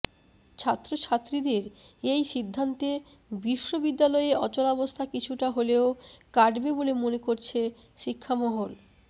ছাত্রছাত্রীদের এই সিদ্ধান্তে বিশ্ববিদ্যালয়ে অচলাবস্থা কিছুটা হলেও কাটবে বলে মনে করছে শিক্ষামহল